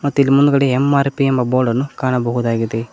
ಮತ್ತೆ ಇಲ್ಲಿ ಮುಂದ್ಗಡೆ ಎಂ_ಆರ್_ಪಿ ಎಂಬ ಬೋರ್ಡನ್ನು ಹಾಕಿದ್ದಾರೆ.